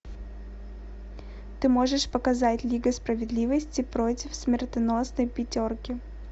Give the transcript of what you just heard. ты можешь показать лига справедливости против смертоносной пятерки